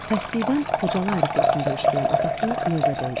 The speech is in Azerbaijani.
Tərsliyindən Xocalı aeroportunda işləyən atası növbədə idi.